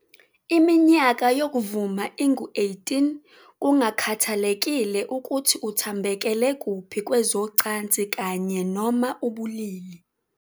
Iminyaka yokuvuma ingu-18 kungakhathalekile ukuthi uthambekele kuphi kwezocansi kanye, noma ubulili.